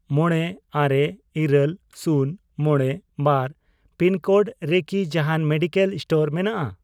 ᱢᱚᱬᱮᱹᱟᱨᱮ, ᱤᱨᱟᱹᱞ, ᱥᱩᱱ, ᱢᱚᱬᱮ, ᱵᱟᱨ ᱯᱤᱱᱠᱳᱰ ᱨᱮᱠᱤ ᱡᱟᱦᱟᱸᱱ ᱢᱮᱰᱤᱠᱮᱞ ᱥᱴᱳᱨ ᱢᱮᱱᱟᱜᱼᱟ ?